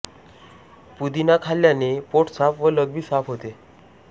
पुदिना खाल्ल्याने पोट साफ व लघवी साफ होते